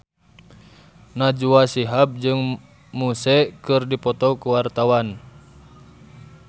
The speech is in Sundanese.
Najwa Shihab jeung Muse keur dipoto ku wartawan